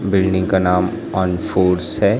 Building का नाम on foods है।